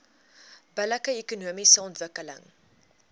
billike ekonomiese ontwikkeling